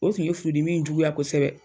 O tun ye furudimi in juguya kosɛbɛ.